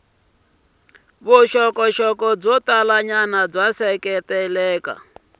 vuxokoxoko byo talanyana byi seketela